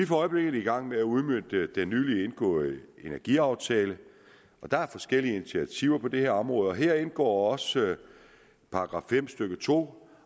for øjeblikket i gang med at udmønte den nylig indgåede energiaftale og der er forskellige initiativer på det her område og her indgår også § fem stykke to